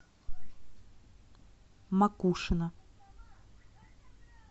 макушино